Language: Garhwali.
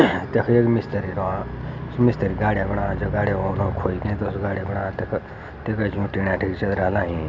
तख एक मिस्त्री रॉ मिस्त्री गाड़ियां बणाद जू गाड़ियां वो खोयी उस गाड़ियां बणाद तख ऐंच टीने रा लयीं।